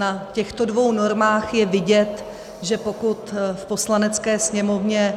Na těchto dvou normách je vidět, že pokud v Poslanecké sněmovně